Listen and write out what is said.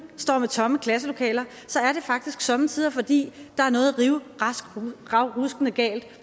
står med tomme klasselokaler er det faktisk somme tider fordi der er noget rivravruskende galt